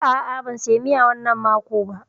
A'a, ban saya miya wannan mako ba.